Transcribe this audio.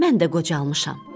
Mən də qocalmışam.